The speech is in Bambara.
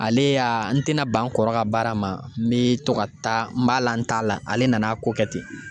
Ale y'a n te na ban n kɔrɔ ka baara ma . N be to ka taa n b'a la n t'a la, ale nana ko kɛ ten.